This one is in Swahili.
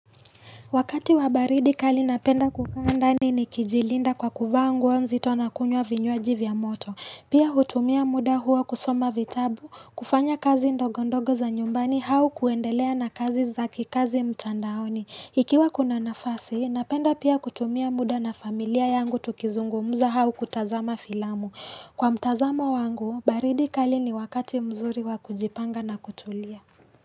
Wakati wa baridi kali napenda kukaa ndani nikijilinda kwa kuvaa nguo nzito nakunywa vinywaji vya moto. Pia hutumia muda huo kusoma vitabu, kufanya kazi ndogondogo za nyumbani au kuendelea na kazi za kikazi mtandaoni. Ikiwa kuna nafasi, napenda pia kutumia muda na familia yangu tukizungumuza au kutazama filamu. Kwa mtazamo wangu, baridi kali ni wakati mzuri wakujipanga na kutulia.